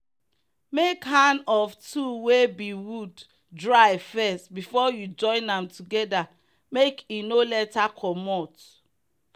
make hand of tool wey be wood dry first before you join am together make e no later comot.